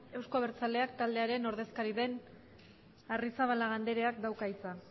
euzko abertzaleak taldearen ordezkari den arrizabalaga andreak dauka hitza